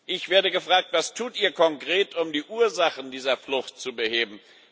Ich werde gefragt Was tut ihr konkret, um die Ursachen dieser Flucht zu beheben?